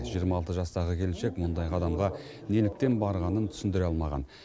жиырма алты жастағы келіншек мұндай қадамға неліктен барғанын түсіндіре алмаған